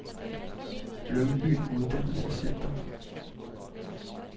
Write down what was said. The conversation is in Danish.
Lyngby Uddannelsescenter